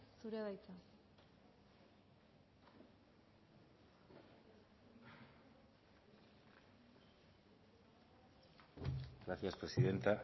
zurea da hitza gracias presidenta